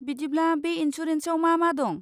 बिदिब्ला, बे इन्सुरेन्सआव मा मा दं?